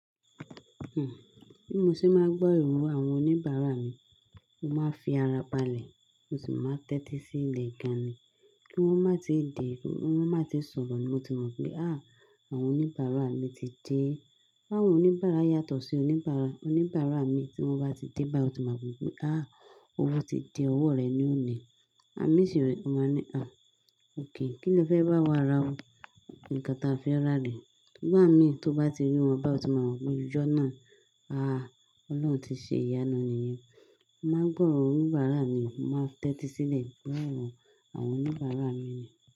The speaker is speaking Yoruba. Ẹ̀hìn, bí mo ṣe máa gbọ́ ìro àwọn oníbàárà mi, mo máa n fi ara balẹ̀, mo sì máa tẹ́tí sí ilẹ̀ gan ni kí wọ́n má tíì de, kí wọ́n má tíì sọ̀rọ̀ ni mo ti mọ̀ pé "àh! Àwọn oníbàárà mi ti dé." Àwọn oníbàárà yàtọ̀ sí oníbàárà. Oníbàárà mii tí wọ́n bá ti dé báyi o ti mọ̀ pé "àh! Owó ti dé ọwọ́ rẹ̀ ni ó ni." Àwon mí sì rẹ̀, mo máa n ni "àh! Ókay, kí le fẹ́ bá wa ra o? Nkan táa fẹ́ rà ni nigba mí tó bá ti rí wọn bá yii, o ti máa mọ̀ pé ijọ̀ nàa, àh! Ọlọ́run ti ṣe ìyànu nìyẹn. Mo máa gbọ́ oro onibàárà mi, mo máa tẹ́tí sílẹ̀ gbo oro àwọn oníbàárà mi ni.